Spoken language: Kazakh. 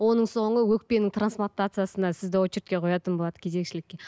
оның соңы өкпенің трансплатациясына сізді очередке қоятын болады кезекшілікке